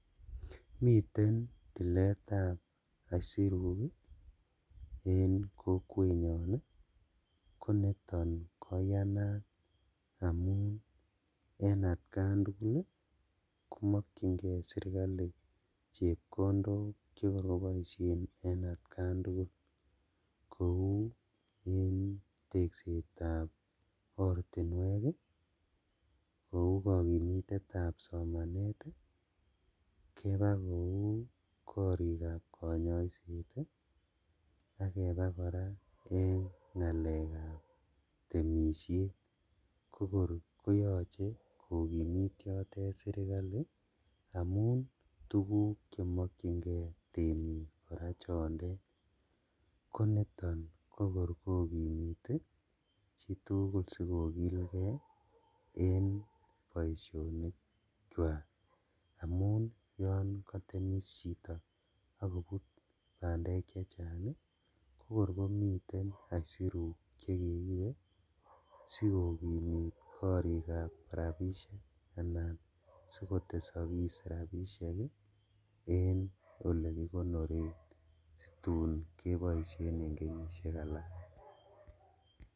Miten tiletab aisiruk en kokwenyon ii koniton koyanat amunen atkan tugul komokyingee sirkali chepkondok chekor koboishen en atkan tugul kou en teksetab ortinwek ii, kou kokimitetab somanet ii, keba kou korikab konyoiset ii, ak kebaa koraa en ngalekab temishet kokor koyoche kokimit yotet sirkali amun tuguk chemokyingee temik koraa chondet koniton kokor kokimite chitugul sikokilgee en boishonikwak amun yon kotemis chito akobut bandek chechang ii kokor komiten aisiruk chekeibe sikokimit korikab rabishek anan sikotesokis rabishek ii en olekikonoren situn koboishen en kenyishek alak.